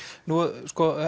nú